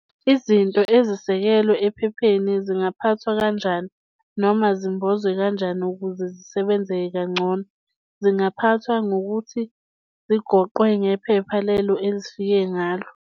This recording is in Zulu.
Izinto ezisekelwe ephepheni zingaphathwa kanjani noma zimbozwe kanjani ukuze zisebenzeke kangcono. Zingaphathwa ngokuthi zigoqwe ngephepha lelo ezifike ngalo.